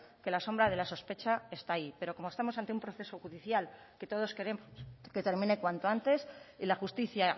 que la sombra de la sospecha está ahí pero como estamos ante un proceso judicial que todos queremos que termine cuanto antes y la justicia